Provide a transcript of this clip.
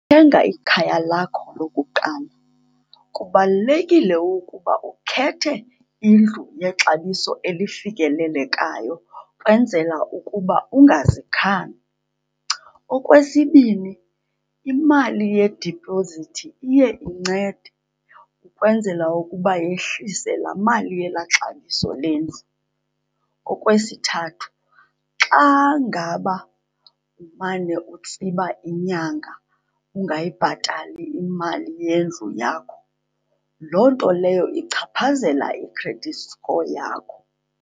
Thenga ikhaya lakho lokuqala kubalulekile ukuba ukhethe indlu yexabiso elifikelelekayo, ukwenzela ukuba ungazikhandi. Okwesibini, imali yedipozithi iye incede ukwenzela ukuba yehlise laa mali yelaa xabiso lendlu. Okwesithathu, xa ngaba umane utsiba inyanga ungayibhatali imali yendlu yakho, loo nto leyo ichaphazela i-credit score yakho.